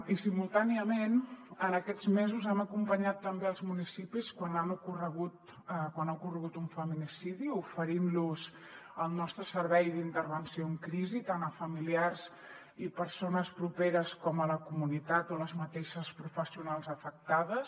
i simultàniament en aquests mesos hem acompanyat també els municipis quan ha ocorregut un feminicidi oferint los el nostre servei d’intervenció en crisi tant a familiars i persones properes com a la comunitat o a les mateixes professionals afectades